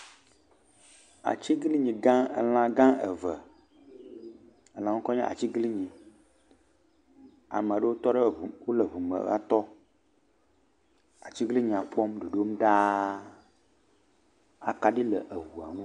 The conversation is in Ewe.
Atiglinyi gã, elã gã eve, elã ŋkɔe nye atiglinyi, amewo tɔ wole eŋu me va tɔ, atiglinyia kpɔm ɖoɖom ɖaa, akaɖi le eŋua ŋu.